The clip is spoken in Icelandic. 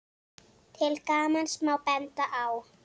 Til gamans má benda á